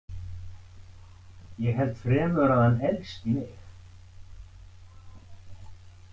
Ég held fremur að hann elski mig.